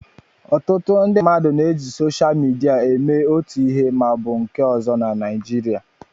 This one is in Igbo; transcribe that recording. Ọtụtụ ndị mmadụ na-eji soshal midia eme otu ihe ma ọ bụ nke ọzọ na Nịjịrịa.